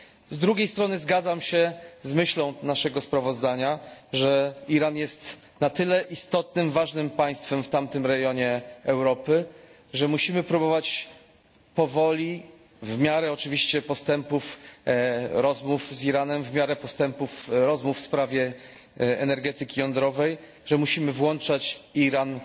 Z drugiej strony zgadzam się z myślą naszego sprawozdania, że Iran jest na tyle istotnym, ważnym państwem w tamtym rejonie Europy, że musimy próbować powoli, w miarę oczywiście postępów rozmów z Iranem, w miarę postępów rozmów w sprawie energetyki jądrowej, że musimy włączać Iran